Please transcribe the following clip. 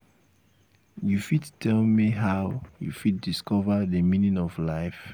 you fit tell me how you fit discover di meaning of life?